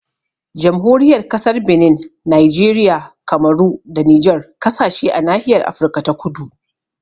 Jamhuriyar Kasar Benin, Nijeriya, Kamaru da Nijar kasashe a nahiyar Afirka ta kudu